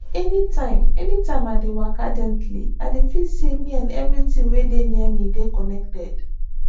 anytime anytime i dey waka gently i dey feel say me and everything wey dey near me dey connected